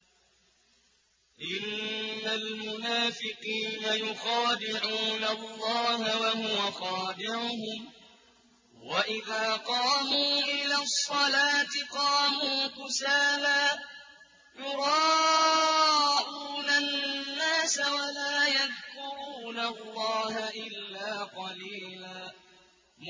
إِنَّ الْمُنَافِقِينَ يُخَادِعُونَ اللَّهَ وَهُوَ خَادِعُهُمْ وَإِذَا قَامُوا إِلَى الصَّلَاةِ قَامُوا كُسَالَىٰ يُرَاءُونَ النَّاسَ وَلَا يَذْكُرُونَ اللَّهَ إِلَّا قَلِيلًا